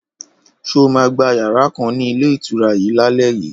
Ṣó mà gbà yàrà kan ni ilé ìtura yìí laleyi?